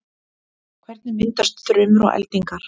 hvernig myndast þrumur og eldingar